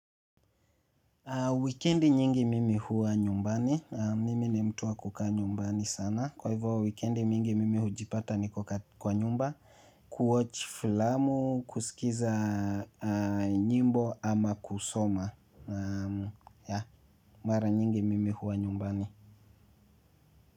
Wikendi nyingi mimi huwa nyumbani. Naam mimi ni mtu wa kukaa nyumbani sana. Kwa hivyo wikendi mingi mimi hujipata niko kwa nyumba, kuwatch filamu, kusikiza nyimbo ama kusoma. Mara nyingi mimi huwa nyumbani.